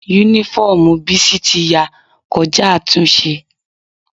Únífọ́ọ̀mù Bísí ti ya kọjá àtúnṣe